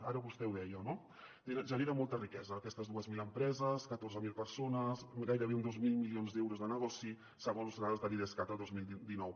ara vostè ho deia no genera molta riquesa aquestes dues mil em·preses catorze mil persones gairebé dos mil milions d’euros de negoci segons dades de l’idescat el dos mil dinou